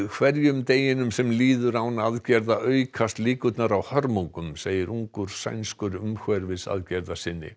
hverjum deginum sem líður án aðgerða aukast líkurnar á hörmungum segir ungur sænskur